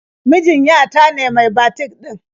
Mijin ya ta ne mai batik ɗin.